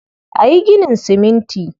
A yi ginin siminti.